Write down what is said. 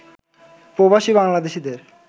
প্রবাসী বাংলাদেশীদের